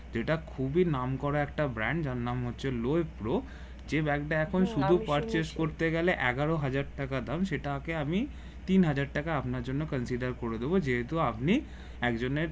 যেট খুবি নাম করা brand যার নাম হচ্ছে লো ইফ প্রো যে ব্যাগ এখন শুধু purchase এগারো হাজার টাকা দাম সেটাকে আমি তিন হাজার টাকা আপনার জন্য consider করে দিবো যেহেতু আপনি একজনের